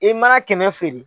E mana kɛmɛ feere.